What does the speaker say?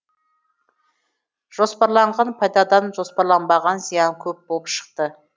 жоспарланған пайдадан жоспарланбаған зиян көп болып шықты